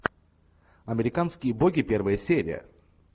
американские боги первая серия